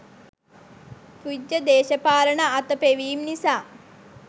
තුච්ඡ දේශපාලන අතපෙවීම් නිසා